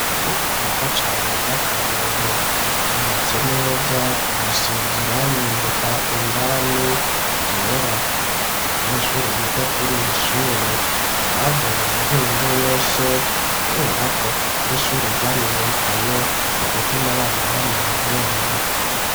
Ishure ryiza cane rya karorero ryubatse neza risize irangi indani undani ryera abanyeshure biga kuriri shure bavuye imihingo yose kuberako ari ishure ryamenyekanye mu gutuma abana bamenye ubwenge